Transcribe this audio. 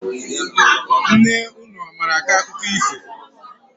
Nne unu ọ mara akọ akụkọ ifo?